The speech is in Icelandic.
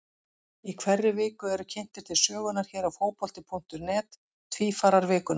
Í hverri viku eru kynntir til sögunnar hér á Fótbolti.net Tvífarar vikunnar.